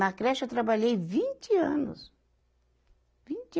Na creche eu trabalhei vinte anos. vinte